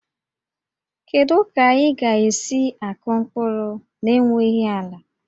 Kedu ka ị ga-esi akụ mkpụrụ n'enweghị ala?